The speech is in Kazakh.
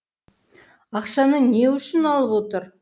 ақшаны не үшін алып отыр